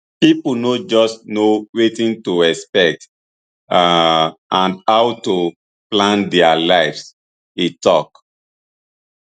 pipo no just know wetin to expect um and how to plan dia lives e tok